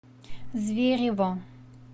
зверево